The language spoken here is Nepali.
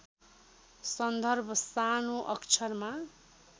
सन्दर्भ सानो अक्षरमा